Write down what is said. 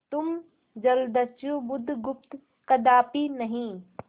तुम जलदस्यु बुधगुप्त कदापि नहीं